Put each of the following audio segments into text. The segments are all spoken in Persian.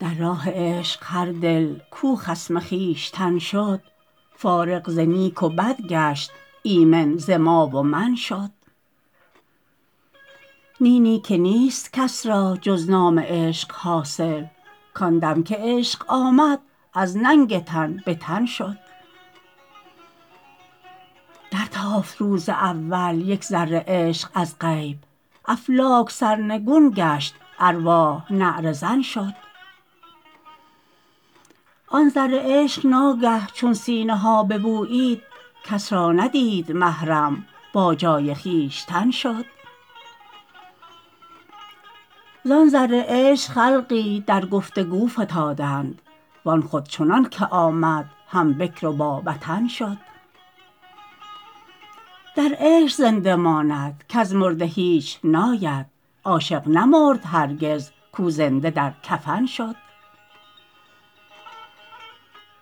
در راه عشق هر دل کو خصم خویشتن شد فارغ ز نیک و بد گشت ایمن ز ما و من شد نی نی که نیست کس را جز نام عشق حاصل کان دم که عشق آمد از ننگ تن به تن شد در تافت روز اول یک ذره عشق از غیب افلاک سرنگون گشت ارواح نعره زن شد آن ذره عشق ناگه چون سینه ها ببویید کس را ندید محرم با جای خویشتن شد زان ذره عشق خلقی در گفتگو فتادند وان خود چنان که آمد هم بکر با وطن شد در عشق زنده باید کز مرده هیچ ناید عاشق نمرد هرگز کو زنده در کفن شد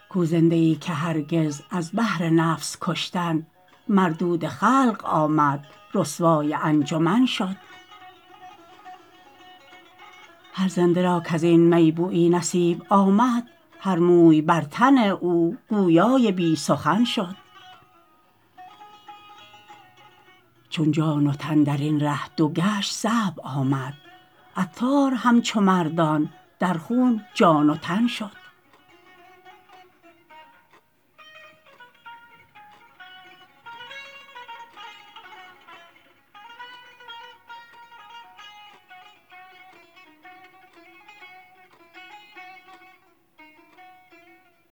کو زنده ای که هرگز از بهر نفس کشتن مردود خلق آمد رسوای انجمن شد هر زنده را کزین می بویی نصیب آمد هر موی بر تن او گویای بی سخن شد چون جان و تن درین ره دو بند صعب آمد عطار همچو مردان در خون جان و تن شد